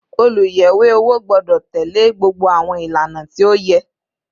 Oluyẹwe owo gbọdọ tẹle gbogbo àwọn ìlànà tí ó yẹ